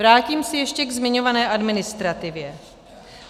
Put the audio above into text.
Vrátím se ještě ke zmiňované administrativě.